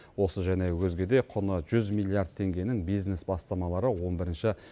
осы және өзге де құны жүз миллиард теңгенің бизнес бастамалары он бірінші